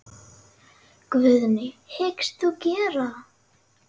Guðný: Hyggst þú gera það?